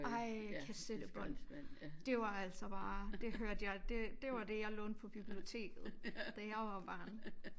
Ej kassettebånd det var altså bare det hørte jeg det det var det jeg lånte på biblioteket da jeg var barn